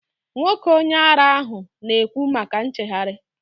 Nwoke onye ara ahụ na ekwu maka nchegharị